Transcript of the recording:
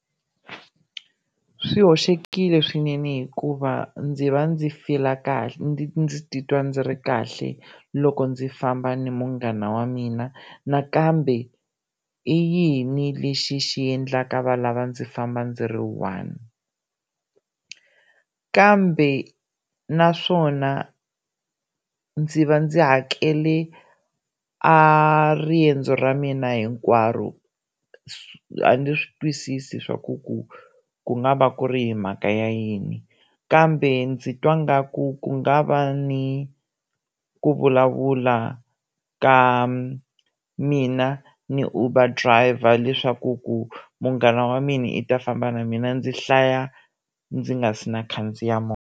Swi hoxekile swinene hikuva ndzi va ndzi fila kahle ndzi ndzi titwa ndzi ri kahle loko ndzi famba ni munghana wa mina nakambe i yini lexi xi endlaka va lava ndzi famba ndzi ri one kambe naswona ndzi va ndzi hakele a riendzo ra mina hinkwaro a ndzi swi twisisi swa ku ku ku nga va ku ri hi mhaka ya yini kambe ndzi twa ngaku ku nga va ni ku vulavula ka mina ni Uber driver leswaku ku munghana wa mina i ta famba na mina ndzi hlaya ndzi nga si na khandziya movha.